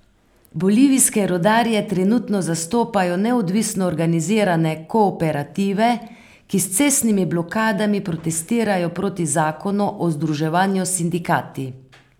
Bolivijske rudarje trenutno zastopajo neodvisno organizirane kooperative, ki s cestnimi blokadami protestirajo proti zakonu o združevanju s sindikati.